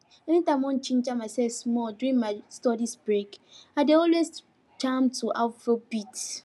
anytime i wan ginger myself small during mystudy breaks i dey always jam to afrobeat